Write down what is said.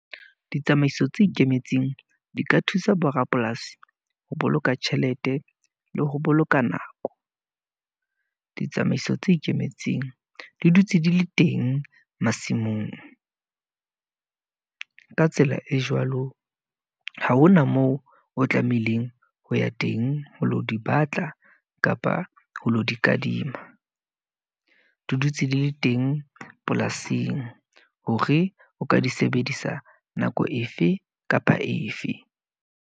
Ditsamaiso tse ikemetseng, di ka thusa bo rapolasi ho boloka tjhelete, le ho boloka nako. Ditsamaiso tse ikemetseng, di dutse di le teng masimong. Ka tsela e jwalo, ha hona moo o tlamehileng ho ya teng ho lo di batla kapa ho lo di kadima. Di dutse di le teng polasing, hore o ka di sebedisa nako efe kapa efe.